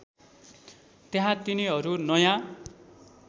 त्यहाँ तिनीहरू नयाँ